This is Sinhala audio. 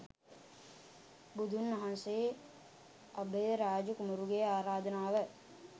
බුදුන් වහන්සේ අභයරාජ කුමරුගේ ආරාධනාව